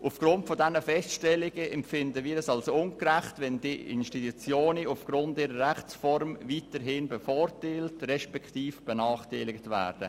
Angesichts dieser Feststellungen empfinden wir es als ungerecht, wenn Institutionen aufgrund ihrer Rechtsform weiterhin bevorteilt respektive benachteiligt werden.